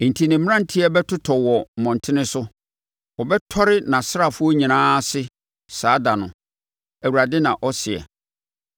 Enti ne mmeranteɛ bɛtotɔ wɔ mmɔntene so; wɔbɛtɔre nʼasraafoɔ nyinaa ase saa ɛda no,” Awurade na ɔseɛ.